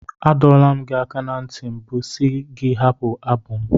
Adọwo m gị aka ná ntị mbụ si gị hapụ abụ m.